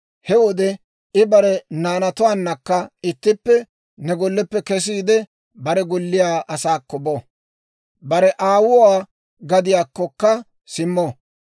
He wode I bare naanatuwaannakka ittippe ne golleppe kesiide bare golliyaa asaakko bo; bare aawuwaa gadiyaakkokka simmo.